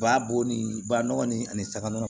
U b'a bɔ ni ba nɔgɔ nin ani saga nɔgɔ